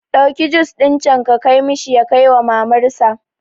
Ɗauki jus ɗin can ka kai mishi ya kaiwa mamar sa